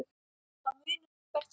Það munar um hvert stig.